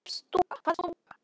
Hvað er stúka?